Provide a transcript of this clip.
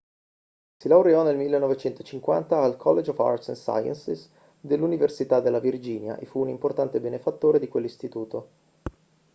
si laureò nel 1950 al college of arts & sciences dell'università della virginia e fu un importante benefattore di quell'istituto